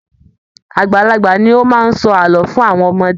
Àgbàlagbà ní o máa n sọ ààlọ́ fún àwọn ọmọdé.